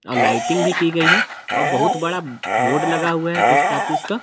और लाइटिंग भी की गई है और बहुत बड़ा बोर्ड लगा हुआ है पोस्ट ऑफिस का जैसा कि।